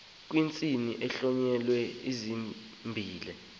kwisininzi kuhlonyelwe isininzisi